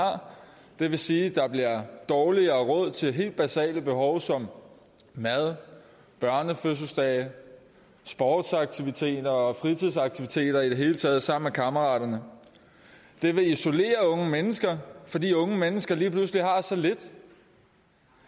det vil sige at der bliver dårligere råd til helt basale behov som mad børnefødselsdage sportsaktiviteter og fritidsaktiviteter i det hele taget sammen med kammeraterne det vil isolere unge mennesker fordi unge mennesker lige pludselig har så lidt